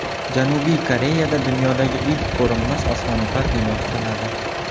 Janubiy Koreyada dunyodagi ilk ko‘rinmas osmono‘par bino quriladi.